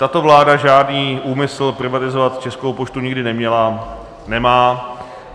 Tato vláda žádný úmysl privatizovat Českou poštu nikdy neměla, nemá.